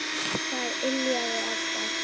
Það yljaði alltaf.